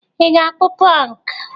Ị ga-akpụ Pọnk?